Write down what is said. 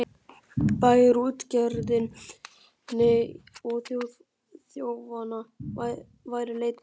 Bæjarútgerðinni og þjófanna væri leitað.